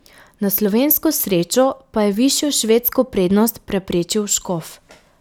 Na slovensko srečo pa je višjo švedsko prednost preprečil Škof.